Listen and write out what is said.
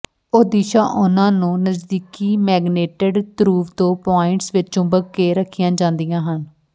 ਉਹ ਦਿਸ਼ਾ ਉਹਨਾਂ ਨੂੰ ਨਜ਼ਦੀਕੀ ਮੈਗਨੇਟਿਡ ਧਰੁਵ ਤੋਂ ਪੁਆਇੰਟਸ ਵਿੱਚ ਚੁੰਬਕ ਕੇ ਰੱਖੀਆਂ ਜਾਂਦੀਆਂ ਹਨ